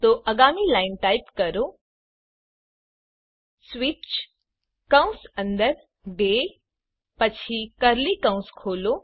તો આગામી line type કરો સ્વીચ કૌંસ અંદર ડે પછી કર્લી કૌંસ ખોલો